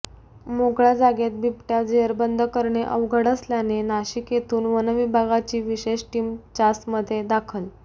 मोकळ्या जागेत बिबट्या जेरबंद करणे अवघड असल्याने नाशिक येथून वनविभागाची विशेष टीम चासमध्ये दाखल